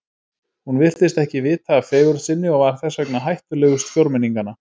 Hún virtist ekki vita af fegurð sinni og var þess vegna hættulegust fjórmenninganna.